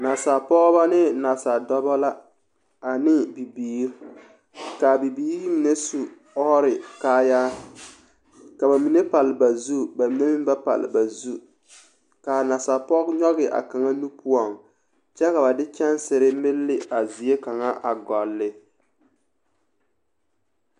Nasaalpɔgeba ne nasaaldɔba la ane bibiiri k,a bibiiri mine su ɔɔre kaayaa ka ba mine pale ba zu ba mine meŋ ba pale ba zu k,a nasapɔge nyɔge a kaŋa nu poɔŋ kyɛ ka ba de kyɛnsere melle ne a zie kaŋa a gɔlle.